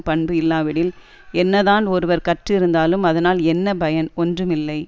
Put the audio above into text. பண்பு இல்லாவிடில் என்னதான் ஒருவர் கற்றுஇருந்தாலும் அதனால் என்ன பயன் ஒன்றுமில்லை